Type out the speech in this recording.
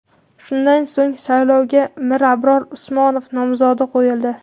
Shundan so‘ng, saylovga Mirabror Usmonov nomzodi qo‘yildi.